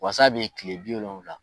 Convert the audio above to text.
Wasa be kile bi wolonfila